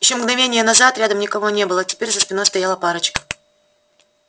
ещё мгновение назад рядом никого не было теперь за спиной стояла парочка